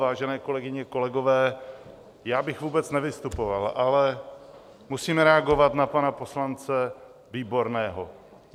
Vážené kolegyně, kolegové, já bych vůbec nevystupoval, ale musím reagovat na pana poslance Výborného.